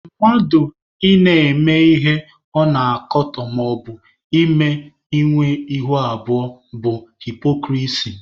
Mmadụ ị na-eme ihe ọ na-akatọ maọbụ mmadụ ịnwe ihu abụọ bụ haịpokrisi